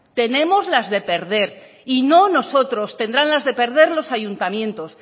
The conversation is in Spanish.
tenemos las de perder y no nosotros tendrán las de perder los ayuntamientos